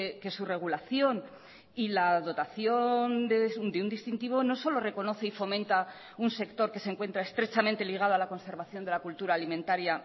que su regulación y la dotación de un distintivo no solo reconoce y fomenta un sector que se encuentra estrechamente ligado a la conservación de la cultura alimentaria